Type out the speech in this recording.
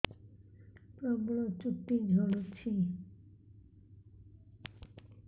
ପ୍ରବଳ ଚୁଟି ଝଡୁଛି